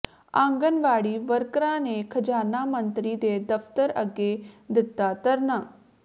ਆਂਗਣਵਾੜੀ ਵਰਕਰਾਂ ਨੇ ਖ਼ਜ਼ਾਨਾ ਮੰਤਰੀ ਦੇ ਦਫ਼ਤਰ ਅੱਗੇ ਦਿੱਤਾ ਧਰਨਾ